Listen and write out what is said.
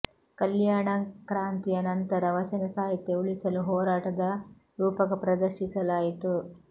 ಕಲ್ಯಾಣ ಕ್ರಾಂತಿಯ ನಂತರ ವಚನ ಸಾಹಿತ್ಯ ಉಳಿಸಲು ಹೋರಾಟದ ರೂಪಕ ಪ್ರದರ್ಶಿಸಲಾಯಿತು